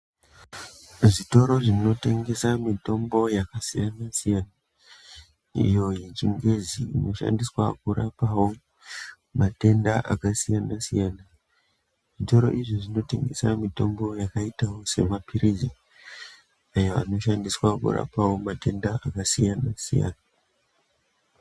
Zvitoro zvinotengesa mitombo yakasiyana siyana iyo yechingezi inoshandiswa kurapa wo matenda akasiyana siyana zvitoro izvi zvinotengesa mutombo wakaita sema pilizi ayo ano shandiswawo kurapa matenda akasiyana siyana.